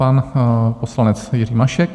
Pan poslanec Jiří Mašek.